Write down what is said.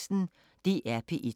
DR P1